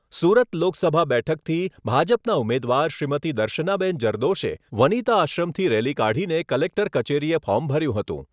સુરત લોકસભા બેઠકથી ભાજપના ઉમેદવાર શ્રીમતી દર્શનાબેન જરદોશએ વનીતા આશ્રમથી રેલી કાઢીને કલેક્ટર કચેરીએ ફોર્મ ભર્યું હતું.